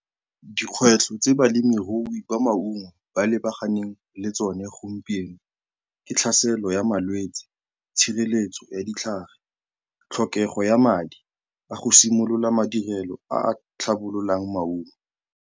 Dikgwetlho tse balemirui ba maungo ba lebaganeng le tsone gompieno ke tlhaselo ya malwetsi, tshireletso ya ditlhare, tlhokego ya madi a go simolola madirelo a a tlhabololang maungo.